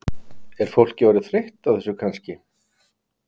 Er fólk orðið þreytt á þessu kannski?